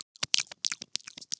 Ódýr sófi